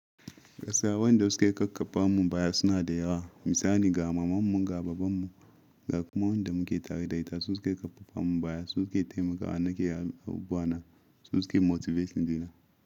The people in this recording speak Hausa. Gaskiya wanda suke ƙaƙƙafa mu baya suna da yawa. Misali ga mamanmu ga babanmu, ga kuma wanda muke taridaita su suke ƙarfafa mu baya, su suke taimaka a nake yawu bana, su suke motivating dina.